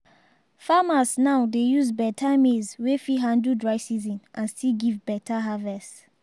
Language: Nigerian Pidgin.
farmers now dey use beta maize wey fit handle dry season and still give beta harvest.